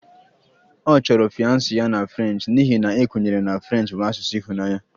Ọ chọrọ fiance ya na French n'ihi na a kwenyere na French bụ asụsụ ịhụnanya